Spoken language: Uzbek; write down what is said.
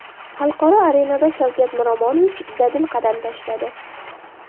Xalqaro arenada Shavkat Miromonovich dadil qadam tashladi.